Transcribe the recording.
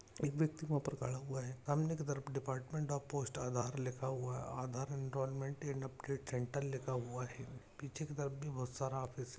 एक व्यक्ति वह पर खड़ा हुआ है सामने तरफ डिपार्टमेंट ऑफ पोस्ट आधार लिखा हुआ है आधार एनरोलमेंट अपडेट सेंटर लिखा हुआ है पीछे की तरफ बहुत सारा ऑफिस --